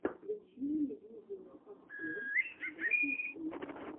включи мне видеообзор баттлстэйт